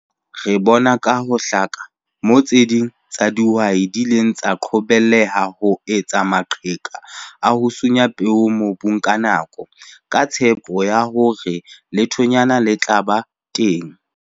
Re bona ka ho hlaka moo tse ding tsa dihwai di ileng tsa qobelleha ho etsa maqheka a ho sunya peo mobung ka nako, ka tshepo ya hore lethonyana le tla ba teng.